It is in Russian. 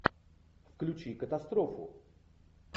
включи катастрофу